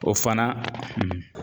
O fana